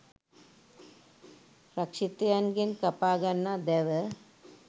රක්ෂිතයන් ගෙන් කපා ගන්නා දැව